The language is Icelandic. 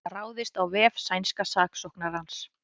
Ráðist á vef sænska saksóknarans